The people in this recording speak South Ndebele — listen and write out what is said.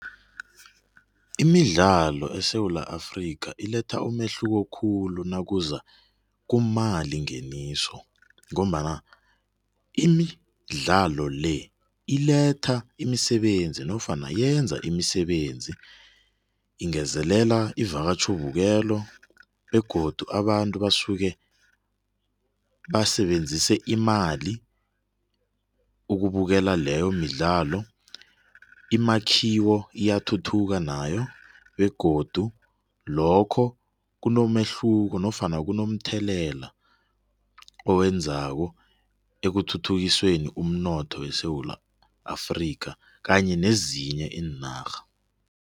Imidlalo eSewula Afrika iletha umehluko khulu nakuza kumali ngeniso ngombana imidlalo le iletha imisebenzi nofana yenza imisebenzi ingezelele ivakatjho-bukelo begodu abantu basuke basebenzese imali ukubukela leyo midlalo. Imakhiwo iyathuthuka nayo begodu lokho kunomehluko nofana kunomthelela owenzako ekuthuthukisweni umnotho eSewula Afrika kanye nezinye iinarha.